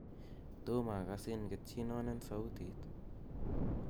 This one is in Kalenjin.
tom agasin ketyin non en sautit